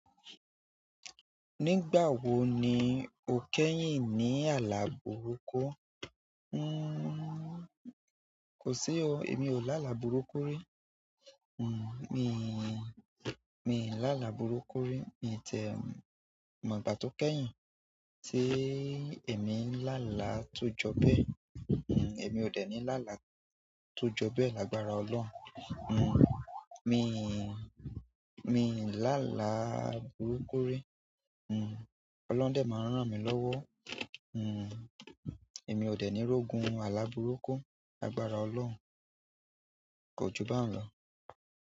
Nígbà wo ni o kẹ́yìn ni ala burúkú? Nnn kò sí o, èmi ò lálá burúkú rí. Hmmm, mi mi n lálá burúkú rí. Mi tiẹ̀ mọ̀ ìgbà tó kẹ́yìn tí íì emi ń lá àlá tó jọ bẹ́ẹ̀. Hmmm, èmi ò dènì lá àlá tó jọ bẹ́ẹ̀ lágbára Ọlọ́run. Hmmm, mi mi n lá àlá burúkú rí. Hmmm, Ọlọhun dẹ máa n rán mi lọ́wọ́. Hmmm, èmi ò dènì rógùn àlá burúkú lágbára Ọlọ́run. Ko ju báun lọ.